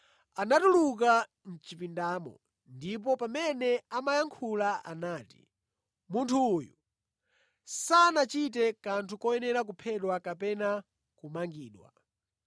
Inatuluka mʼchipindamo, ndipo pamene imayankhula inati, “Munthu uyu sanachite kanthu koyenera kuphedwa kapena kumangidwa.”